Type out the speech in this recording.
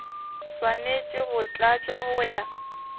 swanetše go tlatšwa go ya